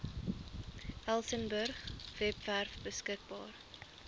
elsenburg webwerf beskikbaar